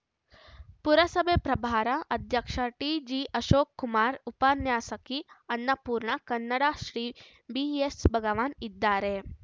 ಪುರಸಭೆ ಪ್ರಭಾರ ಅಧ್ಯಕ್ಷ ಟಿಜಿಆಶೋಕ್‌ಕುಮಾರ್‌ ಉಪನ್ಯಾಸಕಿ ಅನ್ನಪೂರ್ಣ ಕನ್ನಡಶ್ರೀ ಬಿಎಸ್‌ಭಗವಾನ್‌ ಇದ್ದಾರೆ